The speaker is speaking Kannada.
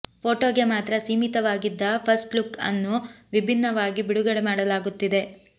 ಫೋಟೋಗೆ ಮಾತ್ರ ಸೀಮಿತವಾಗಿದ್ದ ಫಸ್ಟ್ ಲುಕ್ ಅನ್ನು ವಿಭಿನ್ನವಾಗಿ ಬಿಡುಗಡೆ ಮಾಡಲಾಗುತ್ತಿದೆ